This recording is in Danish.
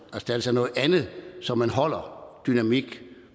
erstattes af noget andet så man holder dynamik